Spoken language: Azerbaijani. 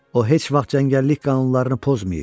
O heç vaxt cəngəllik qanunlarını pozmayıb.